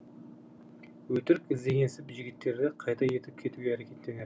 өтірік іздегенсіп жігіттерді қайта ертіп кетуге әрекеттенер